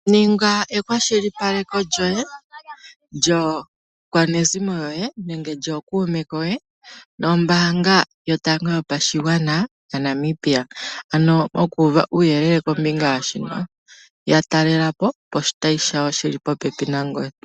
Ninga ekwashilipaleko lyoye, lyakwanezimo yoye nenge lyokuume koye nombanga yotango yopashigwana yaNamibia, ano oku uva uuyelele kombinga yashika yatalelapo poshitayi shawo shili po pepi nangoye.